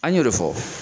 An y'o de fɔ